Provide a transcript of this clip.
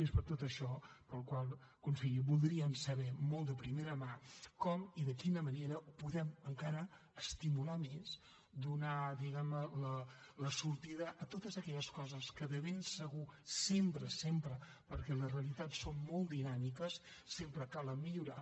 és per tot això que conseller voldríem saber molt de primera mà com i de quina manera podem encara estimular més donar diguem ne sortida a totes aquelles coses que de ben segur sempre sempre perquè les realitats són molt dinàmiques sempre cal millorar